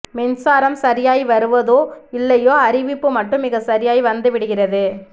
மின்சாரம் சரியாய் வருதோ இல்லையோ அறிவிப்பு மட்டும் மிக சரியாய் வந்துவிடுகிறது